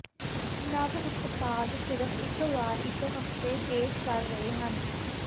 ਨਵ ਉਤਪਾਦ ਸਿਰਫ ਇੱਕ ਵਾਰ ਇੱਕ ਹਫ਼ਤੇ ਪੇਸ਼ ਕਰ ਰਹੇ ਹਨ